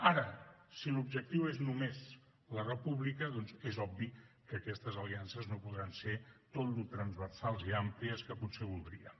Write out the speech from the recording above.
ara si l’objectiu és només la república doncs és obvi que aquestes aliances no podran ser tan transversals i àmplies com potser voldríem